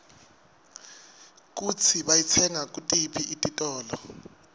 kutsi bayitsenga kutiphi titolo